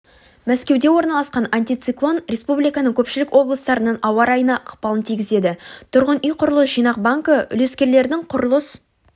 мәскеуде орналасқан антициклон республиканың көпшілік облыстарының ауа-райына ықпалын тигізеді тұрғын үй құрылыс жинақ банкі үлескерлердің құрылыс